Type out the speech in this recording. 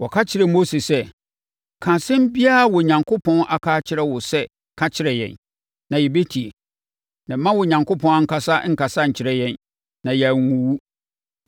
Wɔka kyerɛɛ Mose sɛ, “Ka asɛm biara a Onyankopɔn aka akyerɛ wo sɛ ka kyerɛ yɛn, na yɛbɛtie. Na mma Onyankopɔn ankasa nkasa nkyerɛ yɛn na yɛanwuwu.”